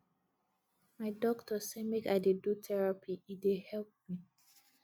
my doctor sey make i dey do therapy e dey help me